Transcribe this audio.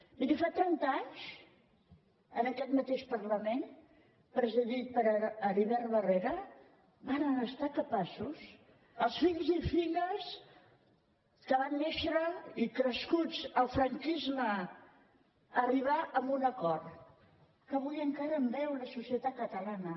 miri fa trenta anys en aquest mateix parlament presidit per heribert barrera varen ser capaços els fills i filles que van néixer i crescuts al franquisme d’arribar a un acord que avui encara en beu la societat catalana